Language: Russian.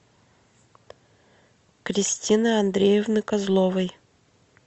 кристины андреевны козловой